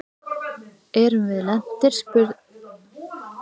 Erum við lentir spurði Kormákur og kíkti út um gluggann.